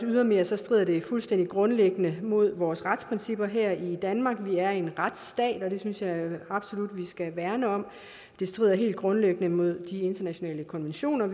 ydermere strider fuldstændig grundlæggende mod vores retsprincipper her i danmark vi er en retsstat og det synes jeg absolut vi skal værne om det strider helt grundlæggende mod de internationale konventioner